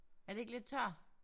Er det ikke lidt tør?